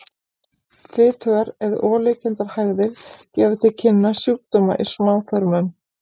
Fitugar eða olíukenndar hægðir gefa til kynna sjúkdóma í smáþörmum.